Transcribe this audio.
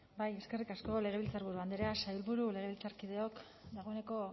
bai eskerrik asko legebiltzarburu andrea sailburu legebiltzarkideok dagoeneko